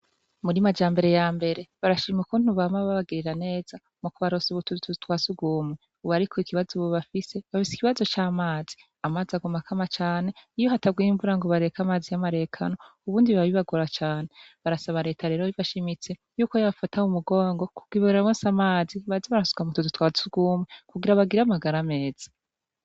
Muri Majambere ya mbere barashima ukuntu bama babagirira neza mu kubaronsa utuzu twa sugumwe, ubu ariko ikibazo bafise, bafise ikibazo c'amazi, amazi aguma akama cane, iyo hataguye imvura ngo bareka amazi y'amarekano ubundi biba bibagora cane, barasaba reta rero bishimitse yuko yobafata mu mugongo kugira ibaronse amazi baze barasuka mu tuzu twa sugumwe kugira bagire amagara meza.